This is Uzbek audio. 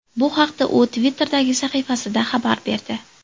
Bu haqda u Twitter’dagi sahifasida xabar berdi .